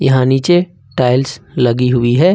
यहां नीचे टाइल्स लगी हुई है।